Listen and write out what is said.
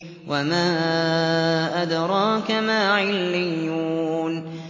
وَمَا أَدْرَاكَ مَا عِلِّيُّونَ